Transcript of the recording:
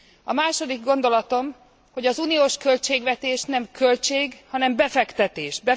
A második gondolatom, hogy az uniós költségvetés nem költség, hanem befektetés.